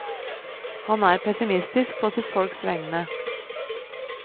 Han er pessimistisk på sitt folks vegne.